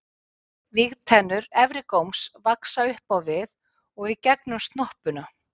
vígtennur efri góms vaxa upp á við og í gegnum snoppuna